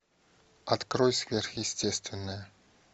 открой сверхъестественное